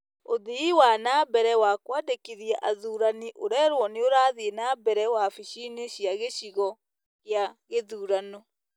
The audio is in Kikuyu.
Ũthii wa na mbere wa kũandĩkithia athuurani ũrerwo nĩ ũrathiĩ na mbere wabici-inĩ cia gĩcigo kĩa gĩthurano.